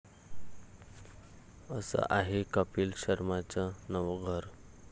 असं आहे कपील शर्माचं नवं 'घर'